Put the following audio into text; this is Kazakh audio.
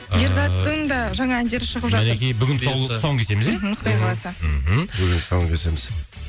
ыыы ерзаттың да жаңа әндері шығып жатыр мінекей бүгін тұсауын кесеміз иә құдай қаласа мхм бүгін тұсауын кесеміз